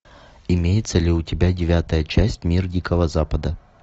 имеется ли у тебя девятая часть мир дикого запада